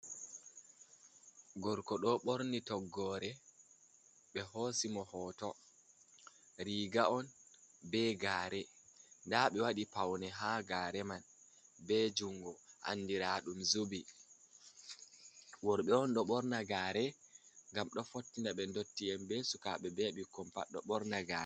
Gorko ɗo ɓorni toggore, ɓe hoosi mo hoto riga on, be gaare, nda ɓe waɗii pawne ha gaare man, be jungo andiraɗum zubi, worɓe on ɗo ɓorna gaafe ngam ɗo fottina ɓe ndotti en, be sukaaɓe, be ɓikkon pat ɗo ɓorna gaare.